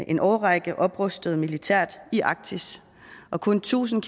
en årrække oprustet militært i arktis og kun tusind